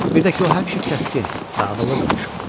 Bir də ki o həmişə kəskin və ağıllı danışırdı.